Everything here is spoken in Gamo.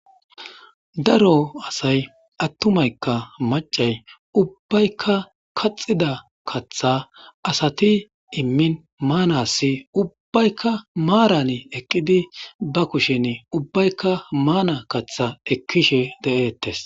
Daro asay attumaykka macay ubbaykka kaxida katha asati immin maanassi ubbaykka maaran eqqidi ba kushen ubbaykka maana katha ekkishe de7eettes.